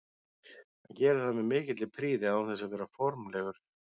Hann gerir það með mikilli prýði án þess að vera of formlegur.